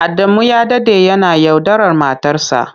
Adamu ya dade yana yaudarar matarsa.